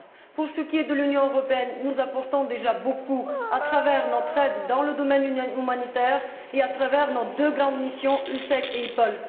Pour ce qui est de l'Union européenne, nous apportons déjà beaucoup à travers notre aide dans le domaine humanitaire et à travers nos deux grandes missions, EUSEC et EUPOL.